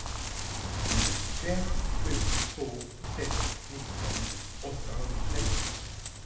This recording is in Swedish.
fem sju två sex nitton åttahundrasexton